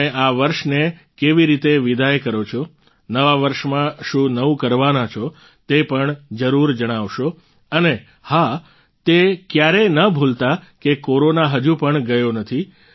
તમે આ વર્ષને કેવી રીતે વિદાય કરો છો નવા વર્ષમાં શું નવું કરવાના છો તે પણ જરૂર જણાવશો અને હા તે ક્યારેય ન ભૂલતા કે કોરોના હજુ પણ ગયો નથી